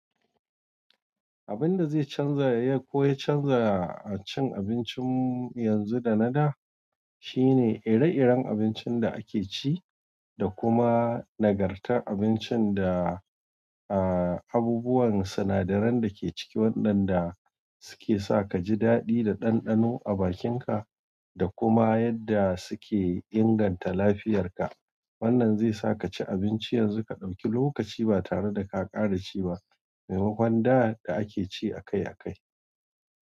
Abin da zai canza ya ko ya canza cin abincin yanzu da na da. Shine ire-iren abincin da ake ci, da kuma nagartar abincin da. A abubuwan sinadaran da ke ciki, waɗanda suke sa ka ji daɗi da ɗanɗano a bakinka, da kuma yadda suke inganta lafiyarka. Wannan zai sa ka ci abinci yanzu ka ɗauki lokaci ba tare da ka ƙara ci ba, maimakon da da ake ci a kai a kai.